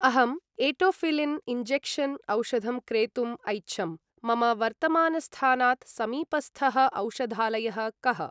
अहं etofylline injection औषधं क्रेतुम् ऐच्छम्, मम वर्तमानस्थानात् समीपस्थः औषधालयः कः?